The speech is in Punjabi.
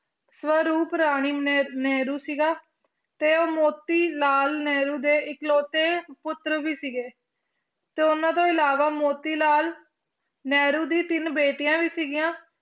ਸਵਰੂਪ ਰਾਣੀ ਨ~ ਨਹਿਰੂ ਸੀਗਾ, ਤੇ ਉਹ ਮੋਤੀਲਾਲ ਨਹਿਰੂ ਦੇ ਇਕਲੌਤੇ ਪੁੱਤਰ ਵੀ ਸੀਗੇ, ਤੇ ਉਹਨਾਂ ਤੋਂ ਇਲਾਵਾ ਮੋਤੀ ਲਾਲ ਨਹਿਰੂ ਦੀ ਤਿੰਨ ਬੇਟੀਆਂ ਵੀ ਸੀਗੀਆਂ,